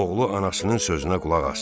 Oğlu anasının sözünə qulaq asdı.